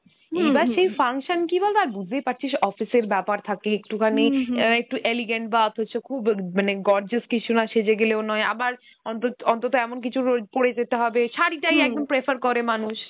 এইবার সেই function কী বল তো, আর বুঝতেই পাড়ছিস office এর ব্যাপার থাকে একটুখানি , অ্যাঁ একটু elegant বা অথচ খুব মানে gorgeous কিছু না সেজে গেলেও নয়, আবার অন্ত~ অন্তত এমন কিছু র পড়ে যেতে হবে, শাড়িটাই একদম prefer করে মানুষ